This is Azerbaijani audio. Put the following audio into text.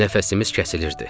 Nəfəsimiz kəsilirdi.